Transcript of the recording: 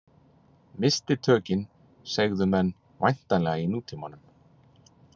Missti tökin, segðu menn væntanlega í nútímanum.